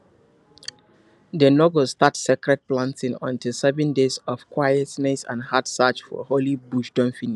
dem no go start sacred planting until seven days of quietness and heart search for holy bush don finish